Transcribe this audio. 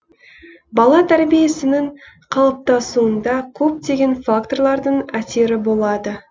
бала тәрбиесінің қалыптасуында көптеген факторлардың әсері болады